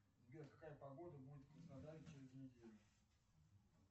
сбер какая погода будет в краснодаре через неделю